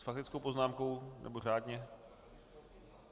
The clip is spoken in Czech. S faktickou poznámkou, nebo řádně?